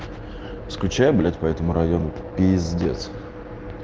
скучаю блять поэтому району пиздец